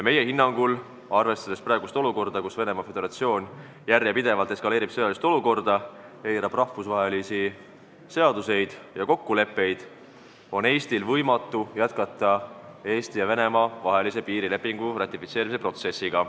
Meie hinnangul, arvestades praegust olukorda, kus Venemaa Föderatsioon järjepidevalt eskaleerib sõjalist olukorda, eirab rahvusvahelisi seaduseid ja kokkuleppeid, on Eestil võimatu jätkata Eesti ja Venemaa vahelise piirilepingu ratifitseerimise protsessi.